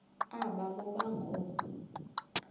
aba boba ngoo